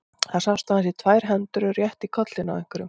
Það sást aðeins í tvær hendur og rétt í kollinn á einhverjum.